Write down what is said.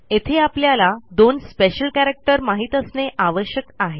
येथे आपल्याला दोन स्पेशल कॅरॅक्टर माहित असणे आवश्यक आहे